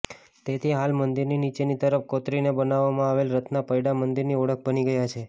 તેથી હાલ મંદિરની નીચેની તરફ કોતરીને બનાવવામાં આવેલા રથના પૈડાં મંદિરની ઓળખ બની ગયા છે